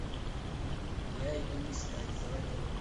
я иду искать заводи